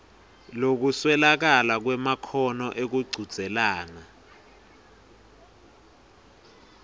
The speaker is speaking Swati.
lokuswelakala kwemakhono ekuchudzelana